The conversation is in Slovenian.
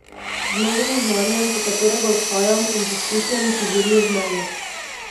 Z novim znanjem, po katerega odhajam, in z izkušnjami, ki zorijo v meni.